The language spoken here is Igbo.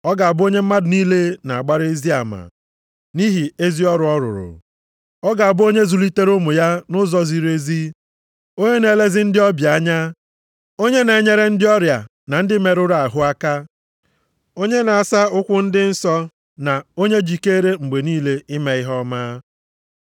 Ọ ga-abụ onye mmadụ niile na-agbara ezi ama, nʼihi ezi ọrụ ọ rụrụ. Ọ ga-abụ onye zụlitere ụmụ ya nʼụzọ ziri ezi, onye na-elezi ndị ọbịa anya, onye na-enyere ndị ọrịa na ndị merụrụ ahụ aka, onye na-asa ụkwụ ndị nsọ na onye jikeere mgbe niile ime ihe ọma.